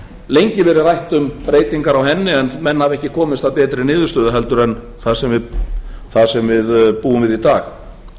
lengi verið rætt um breytingar á henni en menn hafa ekki komist að betri niðurstöðu heldur en það sem við búum við í dag hvað á